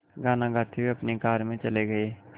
गाना गाते हुए अपनी कार में चले गए